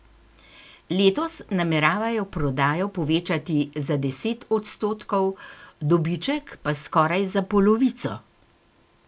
Letos nameravajo prodajo povečati za deset odstotkov, dobiček pa skoraj za polovico.